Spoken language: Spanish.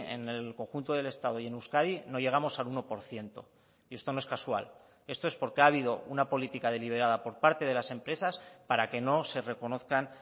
en el conjunto del estado y en euskadi no llegamos al uno por ciento y esto no es casual esto es porque ha habido una política deliberada por parte de las empresas para que no se reconozcan